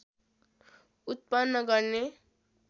उत्पन्न गर्ने